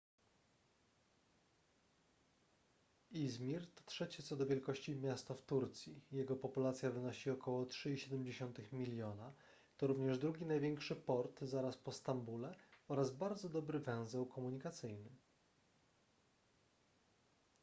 izmir to trzecie co do wielkości miasto w turcji jego populacja wynosi około 3,7 miliona to również drugi największy port zaraz po stambule oraz bardzo dobry węzeł komunikacyjny